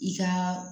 I ka